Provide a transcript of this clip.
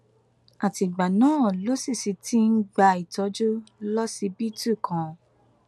àtìgbà náà ló sì sì ti ń gba ìtọjú lọsibítù kan